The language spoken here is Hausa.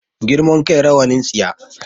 Girman kai rawanin tsiya